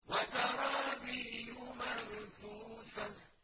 وَزَرَابِيُّ مَبْثُوثَةٌ